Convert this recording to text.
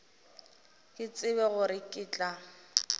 ke tsebe gore ke tla